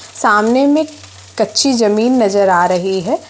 सामने में कच्ची जमीन नज़र आ रही है।